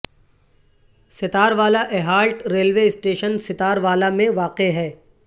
ستار Wala halt railway station Sattar Wala ا میں واقع ہے